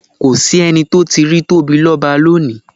Kò s’ẹ́ni tó tíì rí Tóbilọ́ba lónìí.